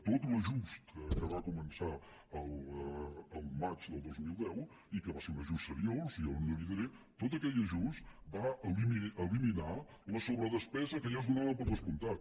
tot l’ajust que va començar al maig del dos mil deu i que va ser un ajust seriós jo no li ho diré tot aquell ajust va eliminar la sobredespesa que ja es donava per descomptat